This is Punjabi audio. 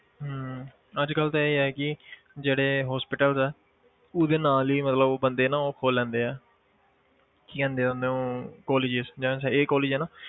ਹਮ ਅੱਜ ਕੱਲ੍ਹ ਤਾਂ ਇਹ ਹੈ ਕਿ ਜਿਹੜੇ hospitals ਹੈ ਉਸਦੇ ਨਾਲ ਹੀ ਮਤਲਬ ਉਹ ਬੰਦੇ ਨਾ ਉਹ ਖੋਲ ਲੈਂਦੇ ਹੈ ਕੀ ਕਹਿੰਦੇ ਆ ਉਹਨੂੰ colleges ਜਿਵੇਂ ਇਹ college ਹੈ ਨਾ